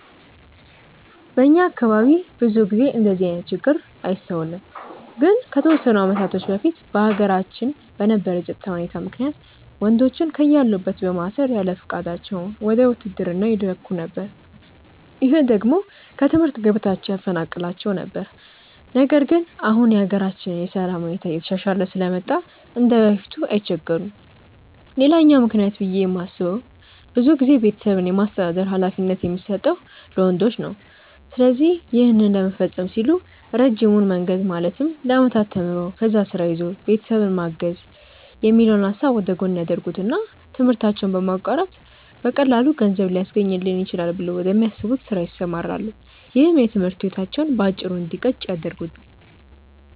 በእኛ አካባቢ ብዙ ጊዜ እንደዚህ አይነት ችግር አይስተዋልም። ግን ከተወሰኑ አመታቶች በፊት በሀገራችን በነበረው የፀጥታ ሁኔታ ምክንያት ወንዶችን ከያሉበት በማሰር ያለፍቃዳቸው ወደ ውትድርና ይላኩ ነበር። ይህ ደግሞ ከትምህርት ገበታቸው ያፈናቅላቸው ነበር። ነገር ግን አሁን የሀገራችን የሰላም ሁኔታ እየተሻሻለ ስለመጣ እንደበፊቱ አይቸገሩም። ሌላኛው ምክንያት ብዬ የማስበው ብዙ ጊዜ ቤተሰብን የማስተዳደር ሀላፊነት የሚሰጠው ለወንዶች ነው። ስለዚህ ይህን ለመፈፀም ሲሉ ረጅሙን መንገድ ማለትም ለአመታት ተምሮ፣ ከዛ ስራ ይዞ ቤተሰብን ማገዝ የሚለውን ሀሳብ ወደጎን ያደርጉትና ትምህርታቸውን በማቋረጥ በቀላሉ ገንዘብ ሊያስገኝልኝ ይችላል ብለው ወደሚያስቡት ስራ ይሰማራሉ። ይህም የትምህርት ህይወታቸው በአጭሩ እንዲቀጭ ያደርገዋል።